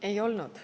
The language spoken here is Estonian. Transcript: Ei olnud.